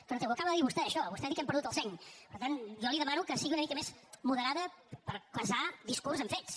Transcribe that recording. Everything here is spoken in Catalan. però si ho acaba de dir vostè això vostè ha dit que hem perdut el seny per tant jo li demano que sigui una mica més moderada per casar discurs amb fets